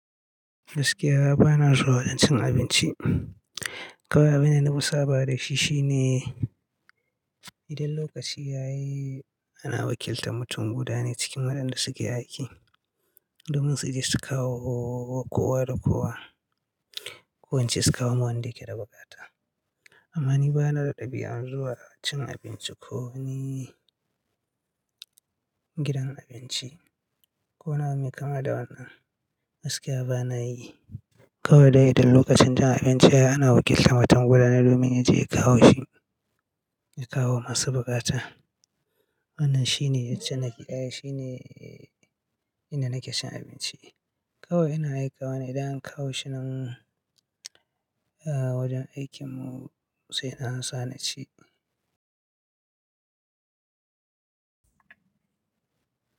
Gaskiya bana zuwa wajen cin abinci. Kawai abin da na fi saba da shi shine idan lokaci ya yi ana wakiltar mutum guda ne cikin waɗanda suke aiki domin su je su kawo kowa da kowa, ku ince su kawo wanda yake da bukata. Amma ni bana da ɗabi'an zuwa cin abinci ko ni gidan abinci ko wani abu me kama da haka, gaskiya bana yi. Kawai dai idan lokacin cin abinci ya yi ana wakiltar mutum guda ne domin ya je ya kawo shi, ya kawo masu bukata. Wannan shine jan naƙi ɗaya shine inda nake cin abinci. Kawai ina aikawa ne idan an kawo shi nan, ah wajen aikinmu sai na amsa na ci.